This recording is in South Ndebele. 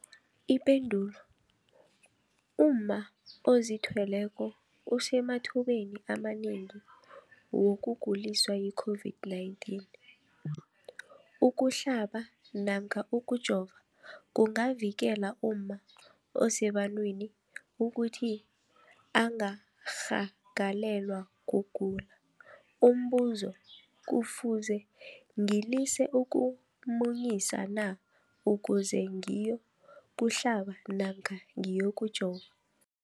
Ipendulo, umma ozithweleko usemathubeni amanengi wokuguliswa yi-COVID-19. Ukuhlaba namkha ukujova kungavikela umma osebantwini ukuthi angarhagalelwa kugula. Umbuzo, kufuze ngilise ukumunyisa na ukuze ngiyokuhlaba namkha ngiyokujova?